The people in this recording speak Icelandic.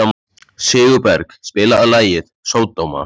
Sigurberg, spilaðu lagið „Sódóma“.